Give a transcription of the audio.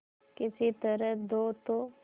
किसी तरह दो तो